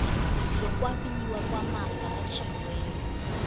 yokwabiwa kwamafa atjhiyiweko